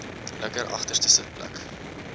linker agterste sitplek